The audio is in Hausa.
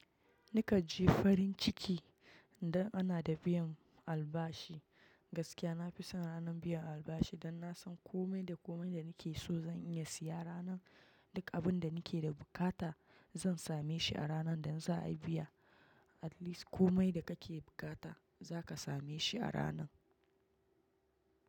Ni kanji farin ciki idan ana da biyan albashi, gaskiya nafi son ranar biyan albashi dan nasan komai da komai da nake so zan iya siya ranar, duk abinda nake da buƙata zan same shi a ranar da za'ayi biya, at least komai da kake bukata zaka same shi a ranar.